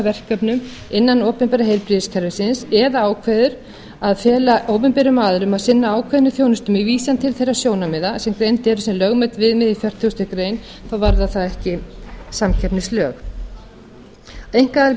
verkefnum innan opinbera heilbrigðiskerfisins eða ákveður að fela opinberum aðilum að sinna ákveðinni þjónustu með vísan til þeirra sjónarmiða sem greind eru sem lögmæt viðmið í fertugustu grein þá varðar það ekki samkeppnislög einkaaðilar